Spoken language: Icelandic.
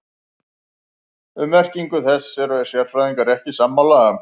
Um merkingu þess eru sérfræðingar ekki sammála.